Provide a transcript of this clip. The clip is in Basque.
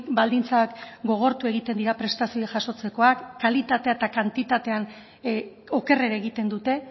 baldintzak gogortu egiten dira prestazioak jasotzekoak kalitatean eta kantitatean okerrera egiten dute